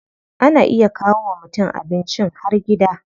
Ana iya kawo wa mutum abincin har gida.